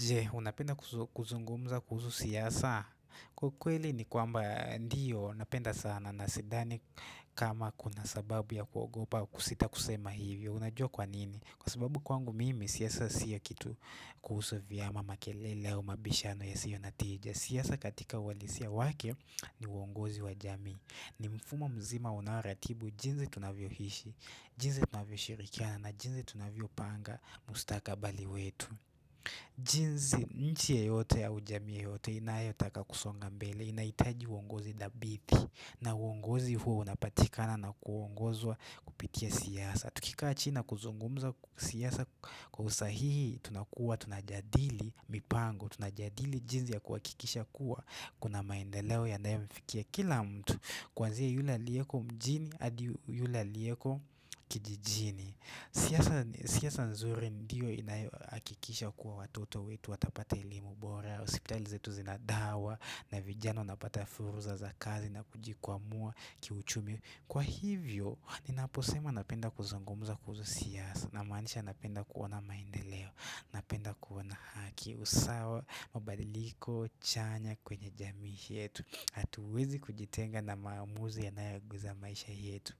Je, unapenda kuzungumza kuhusu siasa? Kwa ukweli ni kwamba ndio, napenda sana na sidhani kama kuna sababu ya kuogopa kusita kusema hivyo. Unajua kwa nini? Kwa sababu kwangu mimi, siasa siyo kitu kuhusu vyama makelele au mabishano yasiyo na tija. Siasa katika uhalisia wake ni uongozi wa jamii. Ni mfumo mzima unaoratibu jinsi tunavyoishi, jinsi tunavyoshirikiana na jinsi tunavyopanga mustaka bali wetu. Jinsi nchi yoyote au jamii yoyote inayotaka kusonga mbele inahitaji uongozi dhabiti na uongozi huo unapatikana na kuongozwa kupitia siyasa Tukikaa china na kuzungumza siasa kwa usahihi tunakuwa tunajadili mipango tunajadili jinsi ya kuhakikisha kuwa Kuna maendeleo ya nayo mfikia kila mtu Kuanzi yule aliyeko mjini hadi yula aliyeko kijijini siasa nzuri ndiyo inayohakikisha kuwa watoto wetu watapata elimu bora hosipitali zetu zina dawa na vijana wanapata fursa za kazi na kujikwamua kiuchumi Kwa hivyo, ninaposema napenda kuzungumza kuhusu siasa na manisha napenda kuona maendeleo Napenda kuina haki usawa, mabadiliko, chanya kwenye jamii yetu hauwezi kujitenga na maamuzi yanayo guza maisha yetu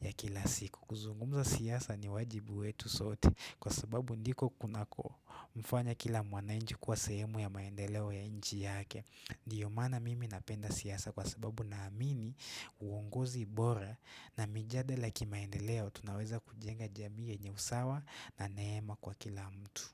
ya kila siku kuzungumza siasa ni wajibu wetu sote kwa sababu ndiko kunako mfanya kila mwananchi kuwa sahemu ya maendeleo ya nchi yake. Ndio maana mimi napenda siasa kwa sababu naamini uongozi bora na mijadala ya kimaendeleo tunaweza kujenga jamii yenye usawa na neema kwa kila mtu.